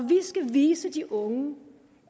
vi skal vise de unge